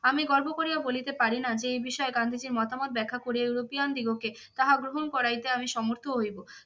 আমি গর্ব করিয়া বলিতে পারি না যে এই বিষয়ে গান্ধীজীর মতামত ব্যাখ্যা করিয়া ইউরোপিয়ান দিগকে তাহা গ্রহণ করাইতে আমি সমর্থ হইব।